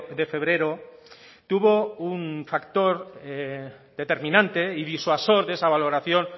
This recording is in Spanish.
de febrero tuvo un factor determinante y disuasor de esa valoración